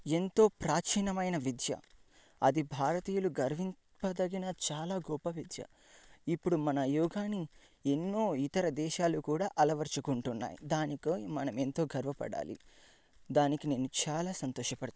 ఎంతో ప్రాచీనమైన విద్య. అది భారతీయులు గౌరవింపదగిన చాలా గొప్ప వ్యక్తి. ఇప్పుడు మన యోగనీ ఎన్నో ఇతర దేశాలు కూడా అలవర్చుకుంటున్నాయ్. దానికి మనం ఎంతో గర్వపడాలి. దానికి నేను చాలా సంతోషపడుతున్నా.